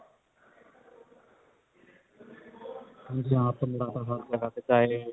bhangra